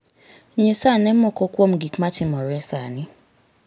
Nyisa ane moko kuom gik matimore sani.